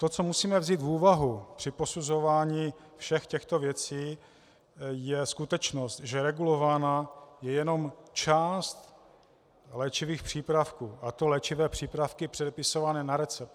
To, co musíme vzít v úvahu při posuzování všech těchto věcí, je skutečnost, že regulována je jenom část léčivých přípravků, a to léčivé přípravky předepisované na recept.